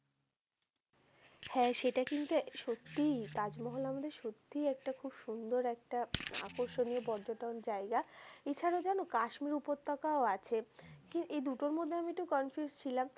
হ্যা সেটা কিন্তু সত্যই, তাজমহল আমাদের সত্যই একটা খুব সুন্দর একটা আকর্ষণীয় পর্যটন জায়গা। এছাড়াও জানো কাশ্মীর উপত্যকাও আছে কি~ দুটার মধ্যে আমি একটু confuse ছিলাম।